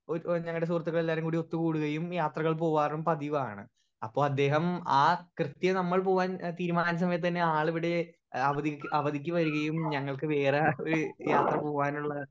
speaker 1 ഓ ഒര് ഞങ്ങളുടെ സുഹൃത്തികളേലാവരും കൂടി ഒത്ത് കൂടുകയൂം യാത്രകൾ പോവരും പതിവാണ് അപ്പൊ അദ്ദേഹം ആ കൃത്യം നമ്മൾ പോവാൻ തീരുമാനിച്ച സമയത്ത് തന്നെ ആളിവിടെ ഏഹ് അവധി അവധിക്ക് വരുകയും ഞാങ്ങള്ക്ക് വേറെ ആ ഒരു യാത്ര പോവാനുള്ള